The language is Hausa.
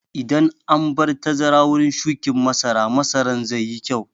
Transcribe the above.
Idan an bar tazara wurin shuƙin masara, masaran zai yi kyau.